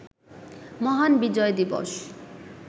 মহান বিজয় দিবস